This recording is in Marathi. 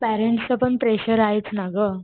पॅरेंट्सच पण प्रेशर आहेच ना ग.